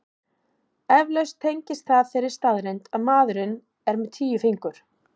Eflaust tengist það þeirri staðreynd að maðurinn er með tíu fingur.